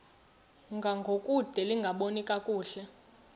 ngangokude lingaboni kakuhle